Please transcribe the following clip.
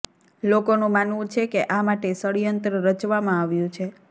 લોકોનું માનવું છે કે આ માટે ષડ્યંત્ર રચવામાં આવ્યું છે